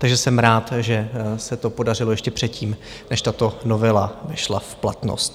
Takže jsem rád, že se to podařilo ještě předtím, než tato novela šla v platnost.